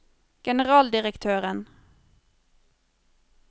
generaldirektøren